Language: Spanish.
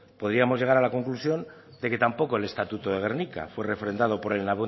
podríamos llegar a la conclusión de que tampoco el estatuto de gernika fue refrendado por el